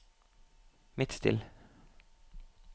Midtstill